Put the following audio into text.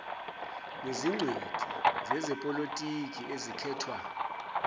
nezingcweti zezepolotiki ezikhethwa